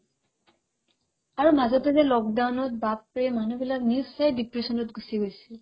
আৰু মাজতে যে lockdown ত বাপৰে মানুহবিলাক নিশ্চয় depression ত গুচি গৈছে